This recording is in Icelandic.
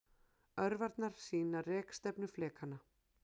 Örvarnar sýna rekstefnu flekanna.